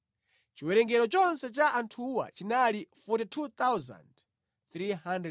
Chiwerengero chonse cha anthuwa chinali 42,360.